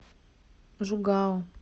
жугао